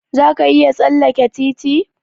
Za ka iya tsalleke titi?